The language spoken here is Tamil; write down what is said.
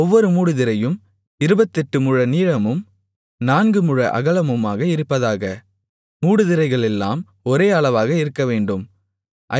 ஒவ்வொரு மூடுதிரையும் இருபத்தெட்டு முழ நீளமும் நான்கு முழ அகலமுமாக இருப்பதாக மூடுதிரைகளெல்லாம் ஒரே அளவாக இருக்கவேண்டும்